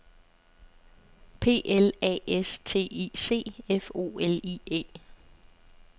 P L A S T I C F O L I E